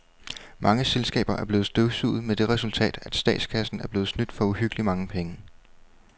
Mange selskaber er blevet støvsuget med det resultat, at statskassen er blevet snydt for uhyggeligt mange penge.